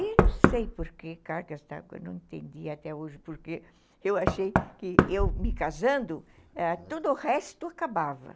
E não sei por que, cara, que eu não entendi até hoje, porque eu achei que eu me casando, ãh, todo o resto acabava.